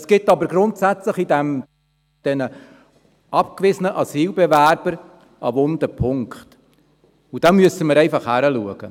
Es gibt aber grundsätzlich bei den abgewiesenen Asylbewerbern einen wunden Punkt, und da müssen wir einfach hinschauen.